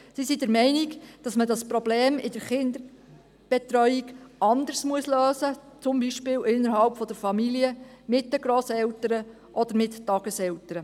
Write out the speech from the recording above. Sie sind der Meinung, man müsse das Problem in der Kinderbetreuung anders lösen, beispielsweise innerhalb der Familie, mit den Grosseltern oder mit Tageseltern.